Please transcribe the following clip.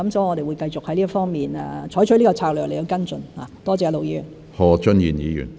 我們會繼續在這方面採取此策略來跟進，多謝盧議員。